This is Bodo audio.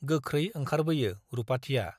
गोख्रै ओंखारबोयो रुपाथिया ।